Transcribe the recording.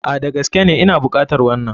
A,Da gaskene Ina bukatar wanan.